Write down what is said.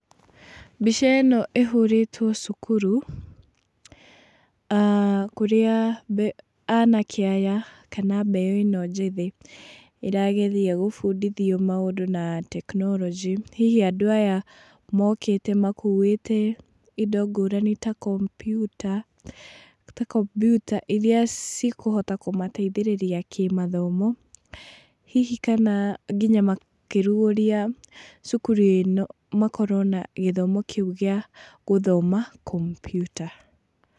Mbica ĩno ĩhũrĩtwo cukuru, aah kũrĩa mbe anake aya, kana mbeũ ĩno njĩthĩ ĩrageria kũbundithio maũndũ na teknorojĩ. Hihi andũ aya mokĩte makuĩte indo ngũrani ta kompiuta ta kompiuta iria cikũhota kũmateithĩrĩrĩa kĩmathomo, hihi kana, nginya makĩrugũria cukuru ĩno makorwo na gĩthomo kĩu kĩa gũthoma kompiuta.